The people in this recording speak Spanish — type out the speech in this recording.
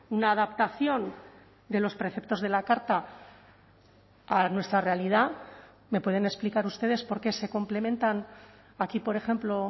una adaptación de los preceptos de la carta a nuestra realidad me pueden explicar ustedes por qué se complementan aquí por ejemplo